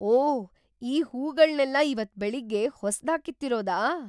ಓಹ್! ಈ ಹೂಗಳ್ನೆಲ್ಲ ಇವತ್ತ್ ಬೆಳಗ್ಗೆ ಹೊಸ್ದಾಗ್ ಕಿತ್ತಿರೋದಾ?